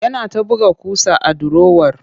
Yana ta buga ƙusa a durowar